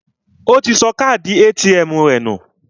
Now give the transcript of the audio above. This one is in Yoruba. Ó ti sọ káàdì ATM rẹ̀ nù